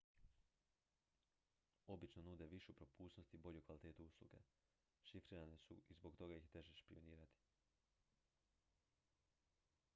obično nude višu propusnost i bolju kvalitetu usluge šifrirane su i zbog toga ih je teže špijunirati